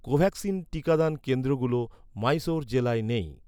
কোভ্যাক্সিন টিকাদান কেন্দ্রগুলো মহীশূর জেলায় নেই